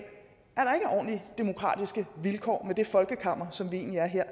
at demokratiske vilkår med det folkekammer som vi egentlig er her